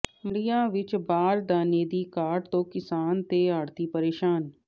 ਮੰਡੀਆਂ ਵਿੱਚ ਬਾਰਦਾਨੇ ਦੀ ਘਾਟ ਤੋਂ ਕਿਸਾਨ ਤੇ ਆੜ੍ਹਤੀ ਪ੍ਰੇਸ਼ਾਨ